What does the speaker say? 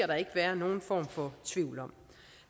der ikke være nogen form for tvivl om